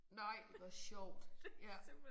Nej hvor sjovt ja